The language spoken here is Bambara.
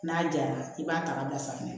N'a jara i b'a ta ka bila sanfɛ